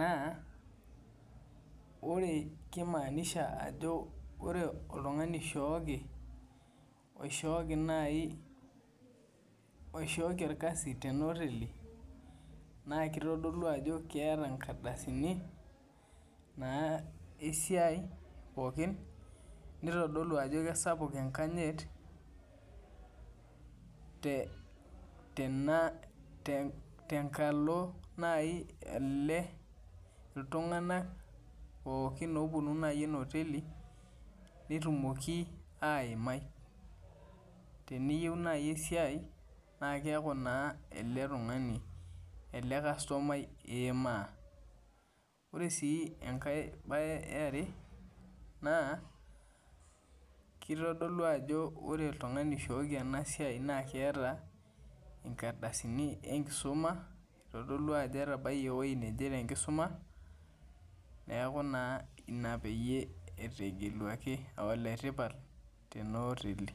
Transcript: naa wore kimaanisha ajo wore oltungani oishooki, oishooki naai, oishooki orkasi tenaoteli, naa kitodolu ajo keeta inkardasini naa esiai pookin, nitodolu ajo kesapuk enkanyit, tena tenkalo naai ele iltunganak pookin ooponu naji ena oteli, netumoki aimai. Teniyieu naaji esiai, naa keaku naa ele tungani ele karsomai iimaa. Wore sii enkae bae eare naa, kitodolu ajo wore oltungani oishooki ena siai naa keeta inkardasini enkisuma, itodolu ajo etabayie ewoji naje tenkisuma, neeku naa inia peyie etegeluaki aa oletipat tena oteli.